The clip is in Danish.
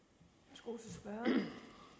det